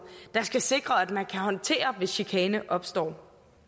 der skal sikre at man kan håndtere hvis chikane opstår